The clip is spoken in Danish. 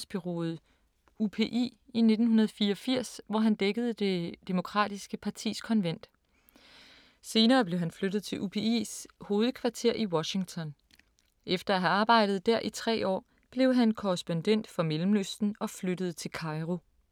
Han begyndte sin karriere i nyhedsbureauet UPI i 1984, hvor han dækkede det demokratiske partis konvent. Senere blev han flyttet til UPI´s hovedkvarter i Washington. Efter at have arbejdet der i tre år, blev han korrespondent for Mellemøsten og flyttede til Cairo.